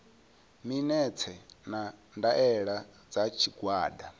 minetse na ndaela dza tshigwada